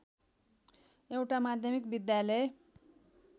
एउटा माध्यमिक विद्यालय